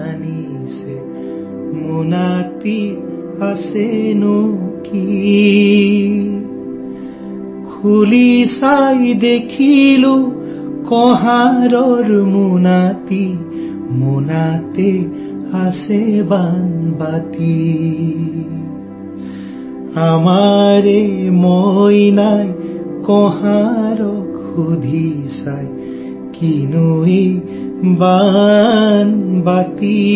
Assamese sound clip 35 సెకన్లు తెలుగు అనువాదం